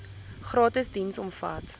gratis diens omvat